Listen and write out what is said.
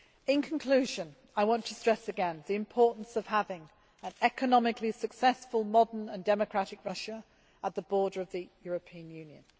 In conclusion, I would like to stress again the importance of having an economically successful, modern, and democratic Russia at the border of the European Union.